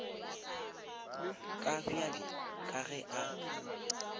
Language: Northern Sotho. ka bjale ka ge a